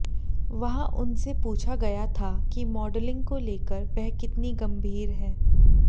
वहां उनसे पूछा गया था कि मॉडलिंग को लेकर वह कितनी गंभीर है